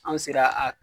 Anw sera a